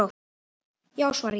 Já svara ég.